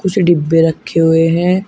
छ डिब्बे रखे हुए हैं।